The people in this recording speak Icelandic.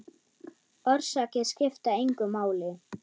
Orsakir skipta engu máli.